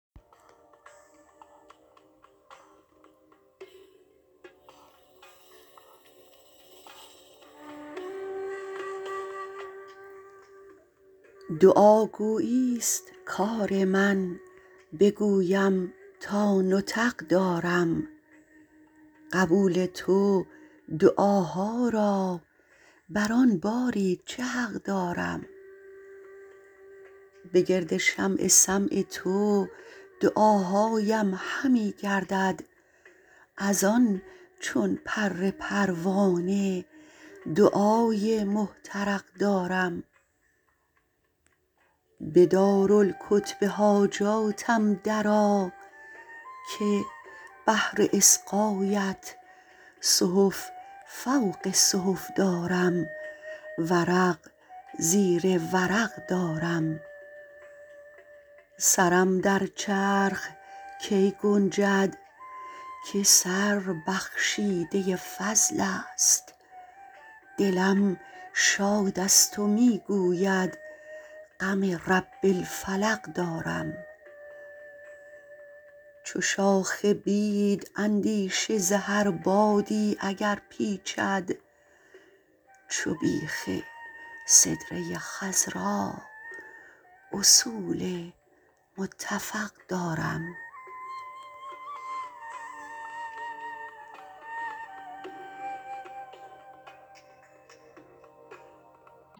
دعا گویی است کار من بگویم تا نطق دارم قبول تو دعاها را بر آن باری چه حق دارم به گرد شمع سمع تو دعاهاام همی گردد از آن چون پر پروانه دعای محترق دارم به دارالکتب حاجاتم درآ که بهر اصغایت صحف فوق صحف دارم ورق زیر ورق دارم سرم در چرخ کی گنجد که سر بخشیده فضل است دلم شاد است و می گوید غم رب الفلق دارم چو شاخ بید اندیشه ز هر بادی اگر پیچد چو بیخ سدره خضرا اصول متفق دارم